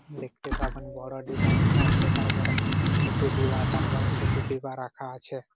দেখতে পাবেন বড় ডিবা রাখা আছে তারপরে ছোট ডিবা তারপরে ছোট ডিবা রাখা আছে।